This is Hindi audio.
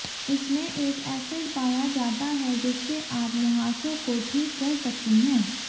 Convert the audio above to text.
इसमें एक एसिड पाया जाता है जिससे आप मुंहासों को ठीक कर सकती हैं